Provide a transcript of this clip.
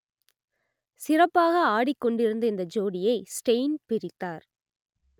சிறப்பாக ஆடிக் கொண்டிருந்த இந்த ஜோடியை ஸ்டெய்ன் பிரித்தார்